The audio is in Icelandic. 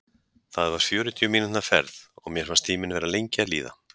Þetta var fjörutíu mínútna ferð, og mér fannst tíminn vera lengi að líða.